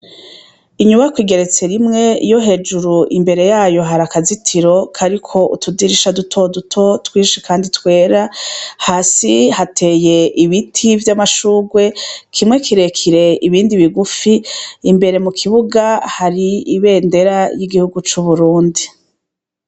Inyubakw’igeretse rimwe, iyo hejuru imbere yayo har’akazitiro kariko utudirisha dutoduto twinshi Kandi twera, hasi hateye ibiti vy’amashurwe, kimwe kirekire , ibindi bigufi, imbere mukibuga hari ibendera y’igihugu c’Uburundi.